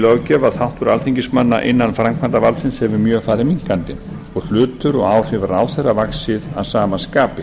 löggjöf að þáttur alþingismanna innan framkvæmdarvaldsins hefur mjög farið minnkandi og hlutur og áhrif ráðherra vaxið að sama skapi